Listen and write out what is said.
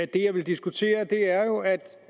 det jeg vil diskutere er jo